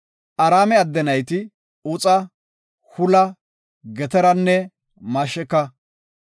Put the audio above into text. Araame adde nayti, Uxa, Hula, Geteranne Masheka.